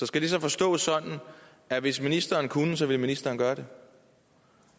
skal det så forstås sådan at hvis ministeren kunne ville ministeren gøre det